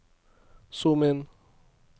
zoom inn